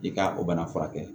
I ka o bana furakɛ